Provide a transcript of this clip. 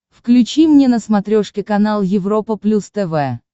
включи мне на смотрешке канал европа плюс тв